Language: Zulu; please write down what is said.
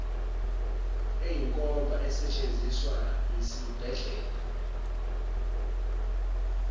eyinkomba esetshenziswa yisibhedlela